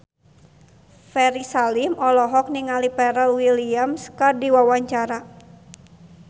Ferry Salim olohok ningali Pharrell Williams keur diwawancara